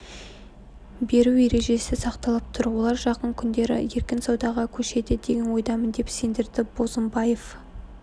беру ережесі сақталып тұр олар жақын күндері еркін саудаға көшеді деген ойдамын деп сендірді бозымбаев